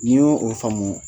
N'i y'o o faamu